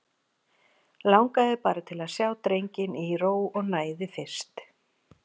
Langaði bara til að sjá drenginn í ró og næði fyrst.